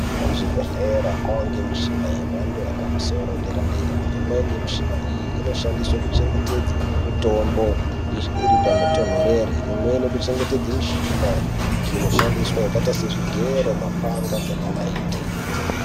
Kuzvibhehlera kwaane mishina yemhando yepamusoro -deradera imweni mishina iyi inoshandiswe kuchengetedze mitombo iri panotonhorere imweni kuchengetedza mishina idiki inoshandiswe yakaite sezvigero mapanga ngemanaiti.